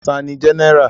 Ta ni Jẹ́nẹ́rà?